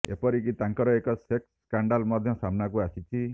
ଏପରିକି ତାଙ୍କର ଏକ ସେକ୍ସ ସ୍କାଣ୍ଡାଲ ମଧ୍ୟ ସାମ୍ନାକୁ ଆସିଛି